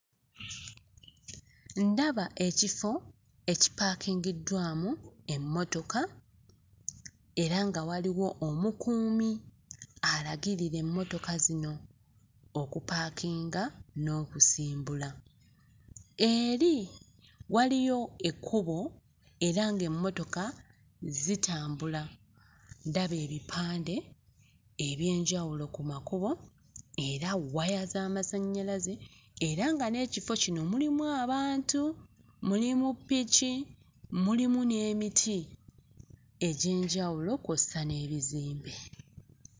Ndaba ekifo ekipaakingiddwamu emmotoka era nga waliwo omukuumi alagirira emmotoka zino okupaakinga n'okusimbula. Eri waliyo ekkubo era ng'emmotoka zitambula. Ndaba ebipande eby'enjawulo ku makubo era waya z'amasannyalaze era nga n'ekifo kino mulimu abantu, mulimu ppiki mulimu n'emiti egy'enjawulo kw'ossa n'ebizimbe.